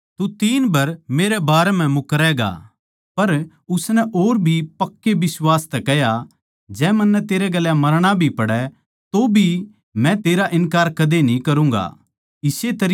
पर उसनै और भी पक्के बिश्वास तै कह्या जै मन्नै तेरै गेल्या मरणा भी पड़ै तौभी मै तेरा इन्कार कदे कोनी करूँगा इस्से तरियां और सारया चेल्यां नै भी कह्या